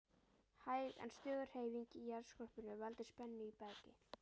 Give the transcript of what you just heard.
Hæg en stöðug hreyfing í jarðskorpunni veldur spennu í bergi.